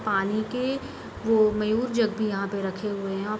पानी के वो मयूर जग भी यहाँ पे रखे हुए हैं।